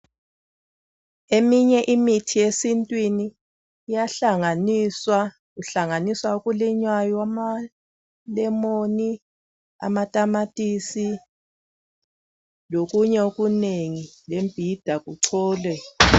Eminye imithi yesintwini iyahlanganiswa. Kuhlanganiswa okulinywayo amalemoni amatamatisi lokunye okunengi lembhida kucholwe